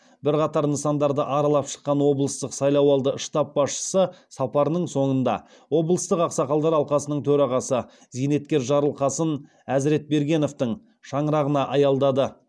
бірқатар нысандарды аралап шыққан облыстық сайлауалды штаб басшысы сапарының соңында облыстық ақсақалдар алқасының төрағасы зейнеткер жарылқасын әзіретбергеновтың шаңырағына аялдады